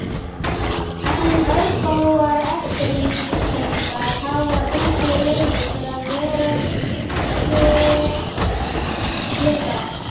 En örfáar eftirlíkingar hafa fengið leyfi til að vera kyrrar.